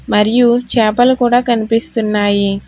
మరియు చాపలు కూడ కనిపిస్తున్నాయి.